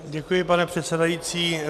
Děkuji, pane předsedající.